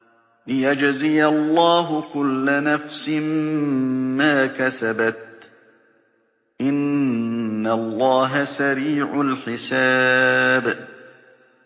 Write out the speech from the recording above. لِيَجْزِيَ اللَّهُ كُلَّ نَفْسٍ مَّا كَسَبَتْ ۚ إِنَّ اللَّهَ سَرِيعُ الْحِسَابِ